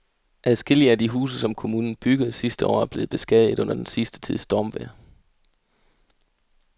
Adskillige af de huse, som kommunen byggede sidste år, er blevet beskadiget under den sidste tids stormvejr.